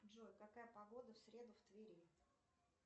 джой какая погода в среду в твери